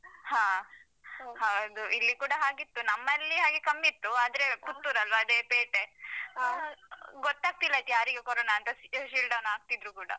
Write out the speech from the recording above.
ಹಾ. ಹೌದು ಇಲ್ಲಿ ಕೂಡ ಇತ್ತು. ನಮ್ಮಲ್ಲಿ ಹಾಗೆ ಕಮ್ಮಿ ಇತ್ತು. ಆದ್ರೆ ಪುತ್ತೂರಲ್ವಾ ಅದೇ ಪೇಟೆ ಅಹ್ ಗೊತ್ತಾಗ್ತಿಲ್ಲ ಅದು ಯಾರಿಗೆ ಕೊರೋನ ಅಂತ, ಅಹ seal down ಆಗ್ತಾ ಇದ್ರೂ ಕೂಡ.